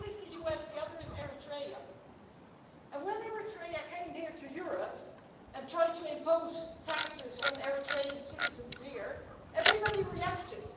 One is the US, the other is Eritrea, and when Eritrea came here to Europe and tried to impose taxes on Eritrean citizens here, everybody reacted.